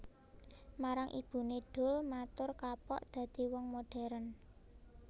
Marang ibuné Doel matur kapok dadi wong moderen